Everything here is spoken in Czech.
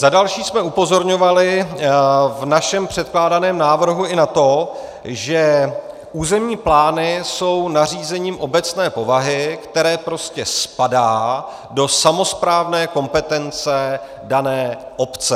Za další jsme upozorňovali v našem předkládaném návrhu i na to, že územní plány jsou nařízením obecné povahy, které prostě spadá do samosprávné kompetence dané obce.